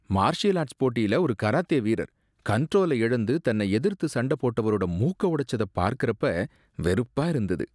Martial arts போட்டியில ஒரு karate வீரர் கண்ட்ரோல இழந்து தன்ன எதிர்த்து சண்ட போட்டவரோட மூக்க உடைச்சத பார்க்கறப்ப வெறுப்பா இருந்தது.